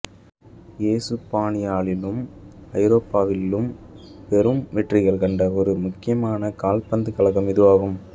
எசுப்பானியாவிலும் ஐரோப்பாவிலும் பெரும் வெற்றிகள் கண்ட ஒரு முக்கியமான கால்பந்துக் கழகம் இதுவாகும்